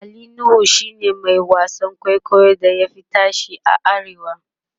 Ali nuhu shine Mai wasan kwaikwayon da ya Fi tashe a arewa